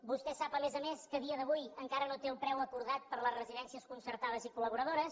vostè sap a més a més que a dia d’avui encara no té el preu acordat per a les residències concertades i col·laboradores